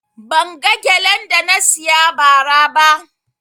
Ban ga gelen da na siya ba ra ba